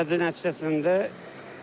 Zədə nəticəsində çökür.